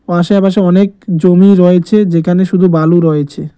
আশেপাশে অনেক জমি রয়েছে যেখানে শুধু বালু রয়েছে।